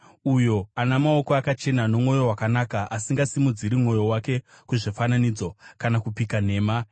Uyo ana maoko akachena nomwoyo wakanaka, asingasimudziri mwoyo wake kuzvifananidzo, kana kupika nhema.